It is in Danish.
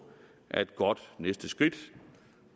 er et godt næste skridt